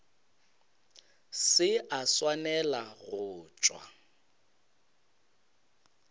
se a swanela go tšwa